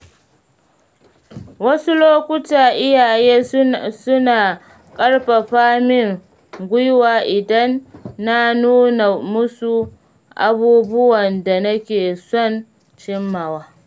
Wasu lokuta iyaye suna ƙarfafa min gwiwa idan na nuna musu abubuwan da nake son cimmawa.